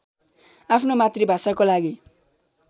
आफ्नो मातृभाषाको लागि